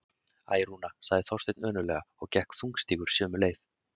Æ, Rúna- sagði Þorsteinn önuglega og gekk þungstígur sömu leið.